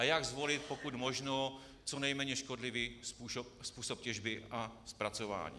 A jak zvolit pokud možno co nejméně škodlivý způsob těžby a zpracování?